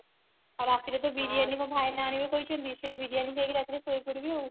ଆଉ ରାତିରେ ତ ବିରିୟାନୀ ମୋ ଭାଇନା ଆଣିବେ କହିଛନ୍ତି ସେଇ ବିରିୟାନୀ ଖାଇ କି ରାତିରେ ସୋଇ ପଡିବି ଆଉ